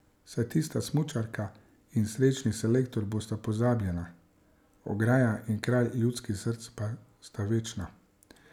Saj tista smučarka in srečni selektor bosta pozabljena, ograja in kralj ljudskih src pa sta večna.